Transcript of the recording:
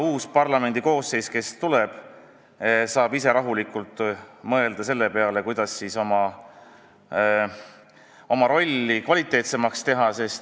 Uus parlamendi koosseis, kes tuleb, saab ise rahulikult mõelda selle peale, kuidas oma rolli kvaliteetsemaks teha.